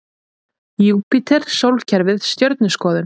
Júpíter Sólkerfið Stjörnuskoðun.